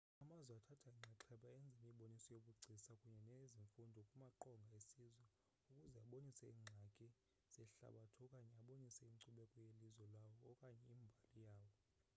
amazwe athatha inxaxheba enza imiboniso yobugcisa kunye neyezemfundo kumaqonga esizwe ukuze abonise iingxaki zehlabathi okanye abonise inkcubeko yelizwe lawo okanye imbali yawo